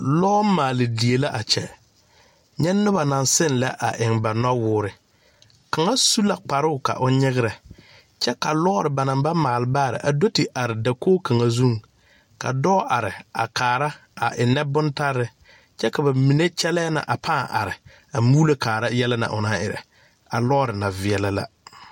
Lɔ maali die la a kyɛ, nya noba naŋ seŋ lɛ eŋ ba noɔwɔɔre, kaŋa su la kparo ka o nyagre, kyɛ ka lɔre ba naŋ ba maali baare do te are dakogi kaŋa zuŋ, ka dɔɔ are a kaara a eŋe bontaare kyɛ ka ba mine kyɛle na a paa are a mɔro kaara yɛllɛ na o naŋ erɛ a lɔre na vaɛle la.